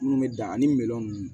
Minnu bɛ dan ani minɛn ninnu